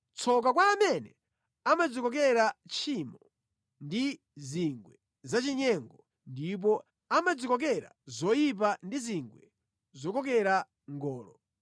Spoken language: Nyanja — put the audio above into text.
Tsoka kwa amene amadzikokera tchimo ndi zingwe zachinyengo, ndipo amadzikokera zoyipa ndi zingwe zokokera ngolo,